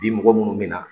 Bi mɔgɔ minnu mina